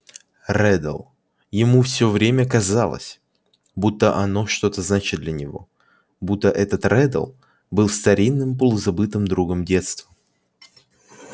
реддл ему всё время казалось будто оно что-то значит для него будто этот реддл был старинным полузабытым другом детства